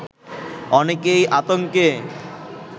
অনেকেই আতঙ্কে